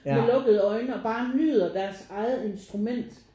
Med lukkede øjne og bare nyder deres eget instrument